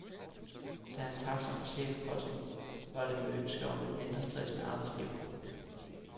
Da han trak sig fra chefposten var det med ønsket om et mindre stressende arbejdsliv.